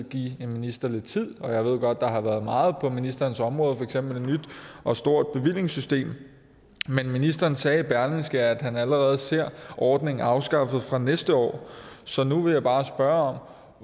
give en minister lidt tid og jeg ved godt der har været meget på ministerens område for eksempel et nyt og stort bevillingssystem men ministeren sagde i berlingske at han allerede ser ordningen afskaffet fra næste år så nu vil jeg bare spørge